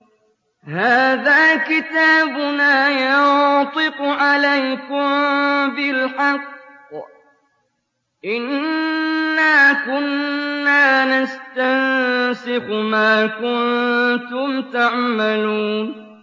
هَٰذَا كِتَابُنَا يَنطِقُ عَلَيْكُم بِالْحَقِّ ۚ إِنَّا كُنَّا نَسْتَنسِخُ مَا كُنتُمْ تَعْمَلُونَ